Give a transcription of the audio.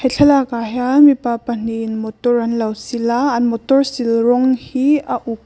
thlalak ah hian mipa pahnih in motor anlo sil a an motor sil rawng hi a uk--